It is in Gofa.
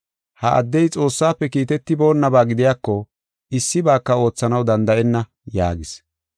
Ha addey Xoossafe kiitetiboonaba gidiyako issibaaka oothanaw danda7enna” yaagis.